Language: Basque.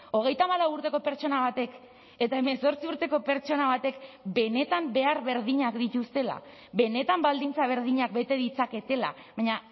hogeita hamalau urteko pertsona batek eta hemezortzi urteko pertsona batek benetan behar berdinak dituztela benetan baldintza berdinak bete ditzaketela baina